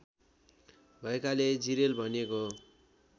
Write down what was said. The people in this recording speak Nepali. भएकाले जिरेल भनिएको हो